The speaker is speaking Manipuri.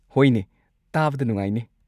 ꯍꯣꯏꯅꯦ, ꯇꯥꯕꯗ ꯅꯨꯡꯉꯥꯏꯅꯦ꯫